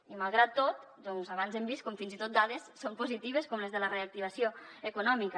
i malgrat tot doncs abans hem vist com fins i tot dades són positives com les de la reactivació econòmica